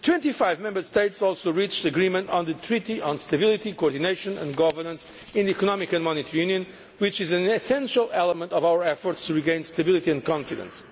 Twenty five Member States also reached agreement on the Treaty on Stability, Coordination and Governance in the Economic and Monetary Union, which is an essential element in our efforts to regain stability and confidence.